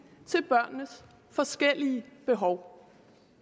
til børnenes forskellige behov